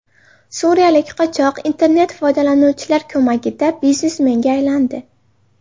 Suriyalik qochoq internet-foydalanuvchilar ko‘magida biznesmenga aylandi .